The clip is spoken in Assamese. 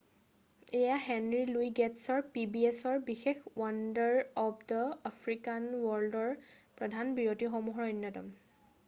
এয়া হেনৰী লুই গে'টছৰ pbsৰ বিশেষ ৱণ্ডাৰ অৱ দা আফ্ৰিকান ৱৰ্ল্ডৰ প্ৰধান বিৰতিসমূহৰ অন্যতম।